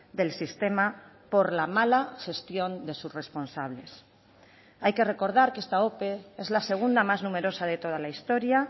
del sistema por la mala gestión de sus responsables hay que recordar que esta ope es la segunda más numerosa de toda la historia